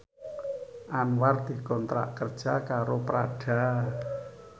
Anwar dikontrak kerja karo Prada